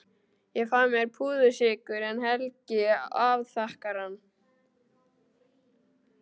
Ég fæ mér púðursykur en Helgi afþakkar hann.